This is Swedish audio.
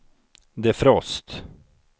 defrost